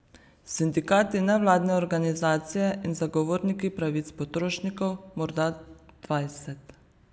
Sindikati, nevladne organizacije in zagovorniki pravic potrošnikov morda dvajset.